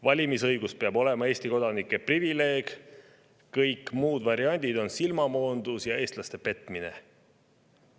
Valimisõigus peab olema Eesti kodanike privileeg, kõik muud variandid on silmamoondus ja eestlaste petmine.